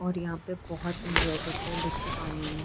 और यहाँ पे बोहोत एंजोय करते है बच्चे पानी में।